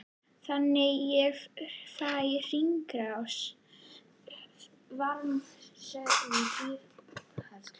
Þannig fær hringrásin varma stöðugt dýpra úr kerfinu.